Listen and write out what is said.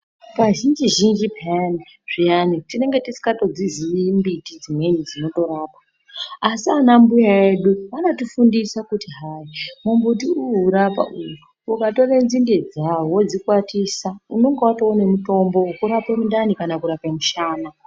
Ka zhinji zhinji peyani zviyani tinenge tisingadziyi mbiti dzino rapa asi ana mbuya edu anotifundisa kuti hai mu mbuti uwu uri apa uyu ukatore nzinde dzawo wodzi kwatisa unenga watone mutombo wekurapa mundani kana mushana.